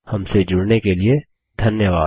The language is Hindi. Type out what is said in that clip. हमसे जुड़ने के लिए धन्यवाद